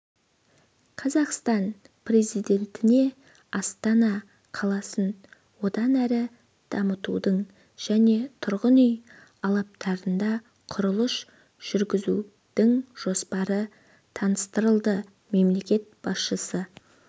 қазақстан президентіне астана қаласын одан әрі дамытудың және тұрғын үй алаптарында құрылыс жүргізудіңжоспары таныстырылды мемлекет басшысы